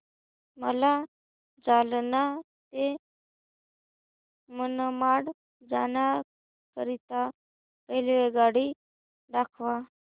मला जालना ते मनमाड जाण्याकरीता रेल्वेगाडी दाखवा